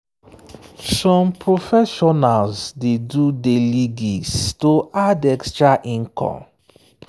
some professionals dey do daily gigs to add extra income.